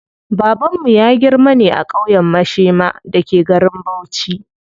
Babanmu ya girma ne a ƙauyen Mashema da ke garin Bauchi.